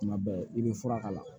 Tuma bɛɛ i bɛ fura k'a la